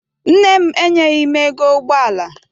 Nne m enyeghi m ego ụgbọala.